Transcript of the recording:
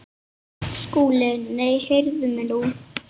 SKÚLI: Nei, heyrið mig nú!